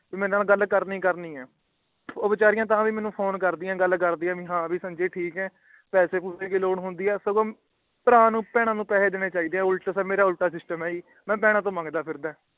ਮੇਰੇ ਨਾਲ ਗੱਲ ਕਰਨੀ ਹੀ ਕਰਨੀ ਹੈ ਉਹ ਵਿਚਾਰਿਆ ਤਾਂ ਵੀ ਮੇਨੂ ਤਾਂ ਵੀ ਮੇਨੂ ਫੋਨ ਕਰਦਿਆਂ ਗੱਲ ਕਰਦਿਆਂ ਕਿ ਹੈ ਵੀ ਸੰਜੇ ਤੂੰ ਠੀਕ ਹੈ ਪੈਸੇ ਪੂਸੇ ਦੀ ਲੋਡ ਹੁੰਦੀ ਹੈ ਬਹਿਣਾ ਨੂੰ ਭਰਾ ਨੇ ਪੈਸੇ ਦੇਣੇ ਚਾਹੀਦੇ ਹੈ ਤੇ ਮੇਰਾ ਉਲਟਾ ਹੈ ਮਈ ਬਹਿਣਾ ਤੂ ਮੰਗਦਾ ਇਰਾਦਾ ਹਾਂ